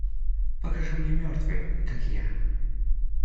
покажи мне мертвые как я